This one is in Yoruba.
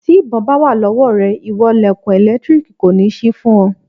Tí ìbọn bá wà lọ́wọ́ rẹ ìwọ lẹ̀kùn ẹ̀lẹ́tíríìkì kò ní sí fún ọ.